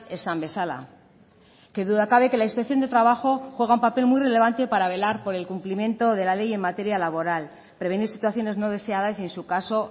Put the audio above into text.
esan bezala qué duda cabe que la inspección de trabajo juega un papel muy relevante para velar por el cumplimiento de la ley en materia laboral prevenir situaciones no deseadas y en su caso